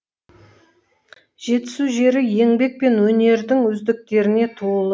жетісу жері еңбек пен өнердің үздіктеріне толы